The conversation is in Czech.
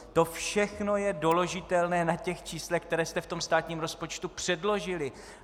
To všechno je doložitelné na těch číslech, která jste v tom státním rozpočtu předložili.